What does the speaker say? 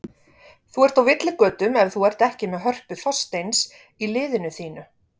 Þú ert á villigötum ef þú ert ekki með Hörpu Þorsteins í liðinu þínu.